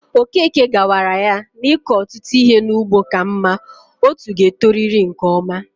Okeke gawara yá n'iko ọtụtụ ihe n'ugbo ka mma, otú ga e toriri nke ọma